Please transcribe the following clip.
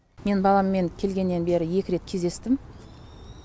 мен баламмен келгеннен бері екі рет кездестім